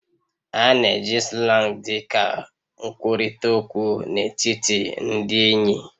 A na-eji Slang dị ka nkwurịta okwu n'etiti ndị enyi